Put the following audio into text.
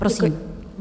Prosím.